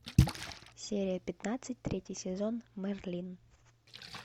серия пятнадцать третий сезон мерлин